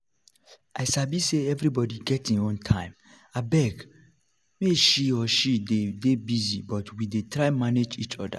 i sabi say everybody get im own time abeg we he/she dey dey busy but we we try manage each other